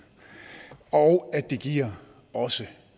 og det giver også